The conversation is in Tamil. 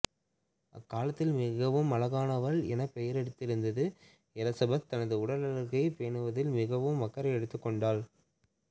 அக்காலத்தில் மிகவும் அழகானவள் எனப் பெயரெடுத்திருந்த எலிசபெத் தனது உடலழகைப் பேணுவதில் மிகவும் அக்கறை எடுத்துக் கொண்டாள்